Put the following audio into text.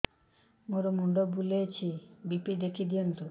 ମୋର ମୁଣ୍ଡ ବୁଲେଛି ବି.ପି ଦେଖି ଦିଅନ୍ତୁ